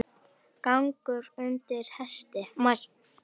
Gangur undir hesti.